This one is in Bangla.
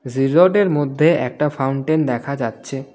রিসোর্ট এর মধ্যে একটা ফাউন্টেন দেখা যাচ্ছে.